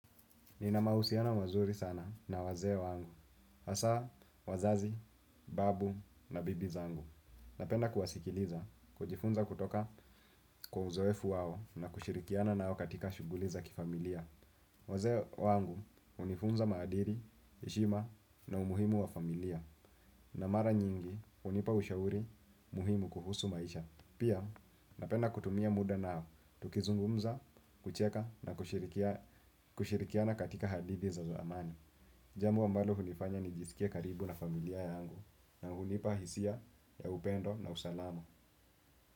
Nina mahusiano mazuri sana na wazee wangu. Hasa wazazi, babu na bibi zangu. Napenda kuwasikiliza kujifunza kutoka kwa uzoefu wao na kushirikiana nao katika shughuli za kifamilia. Wazee wangu hunifunza maadili, heshima na umuhimu wa familia. Na mara nyingi hunipa ushauri muhimu kuhusu maisha. Pia napenda kutumia muda nao, tukizungumza, kucheka na kushirikiana katika hadithi za zamani. Jambo ambalo hunifanya nijisikie karibu na familia yangu na hunipa hisia ya upendo na usalama.